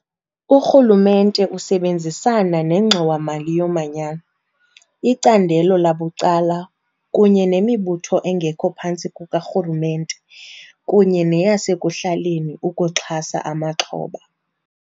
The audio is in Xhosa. Urhulumente usebenzisana neNgxowa-mali yoManyano, icandelo labucala kunye nemibutho engekho phantsi kukarhulumente kunye neyasekuhlaleni ukuxhasa amaxhoba.